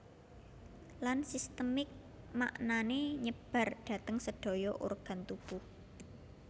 Lan sistemik maknane nyebar dhateng sedaya organ tubuh